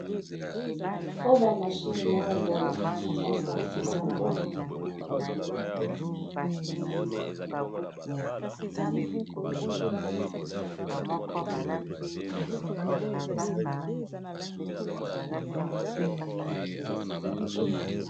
oyo ba mashine moko boye basalisaka kora na ndako